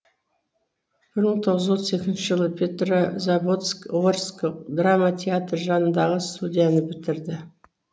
бір мың тоғыз жүз отыз екінші жылы петрозаводск орыс драма театры жанындағы студияны бітірді